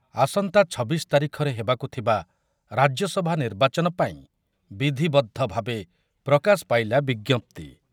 ଆସନ୍ତା ଛବିଶ ତାରିଖରେ ହେବାକୁ ଥିବା ରାଜ୍ୟସଭା ନିର୍ବାଚନ ପାଇଁ ବିଧିବଦ୍ଧ ଭାବେ ପ୍ରକାଶ ପାଇଲା ବିଜ୍ଞପ୍ତି।